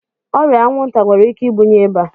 Ọrịa anwụnta nwere ike ibunye ịba.